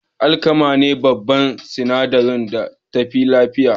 Alkama ne babban sinadari a taliya.